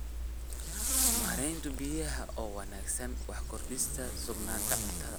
Maaraynta biyaha oo wanaagsan waxay kordhisaa sugnaanta cuntada.